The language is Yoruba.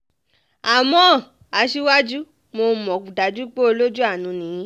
àmọ́ aṣíwájú mo mọ̀ dájú pé olójú àánú ni yín